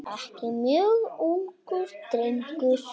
Ekki mjög ungur.